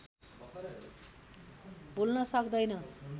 भुल्न सक्दैन